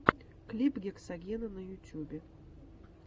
клип гексагена на ютубе